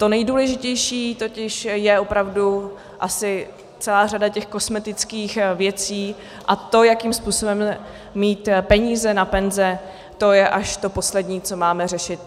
To nejdůležitější totiž je opravdu asi celá řada těch kosmetických věcí a to, jakým způsobem mít peníze na penze, to je až to poslední, co máme řešit.